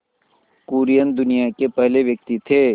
कुरियन दुनिया के पहले व्यक्ति थे